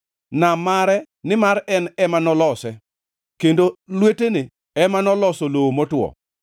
Nam mare, nimar en ema nolose, kendo lwetene ema noloso lowo motwo.